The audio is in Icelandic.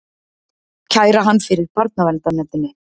Kæra hann fyrir barnaverndarnefndinni!